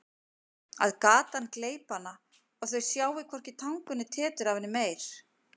Að gatan gleypi hana og þau sjái hvorki tangur né tetur af henni meir.